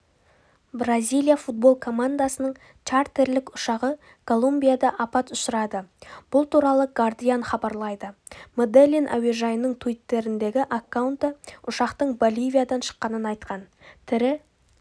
бразилия футбол командасының чартерлік ұшағы колумбияда апат ұшырады бұл туралы гардиан хабарлайды меделлин әуежайының туиттердегі аккаунты ұшақтың боливиядан шыққанын айтқан тірі